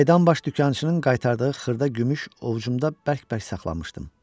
Qayıdan baş dükançının qaytardığı xırda gümüş ovcumda bərk-bərk saxlamışdım.